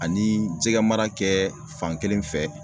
Ani jɛgɛmara kɛ fankelen fɛ